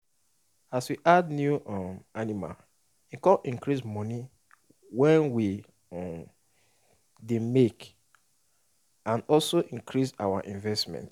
as we add new um animal e come increase moni wey w um dey make and also increase our investment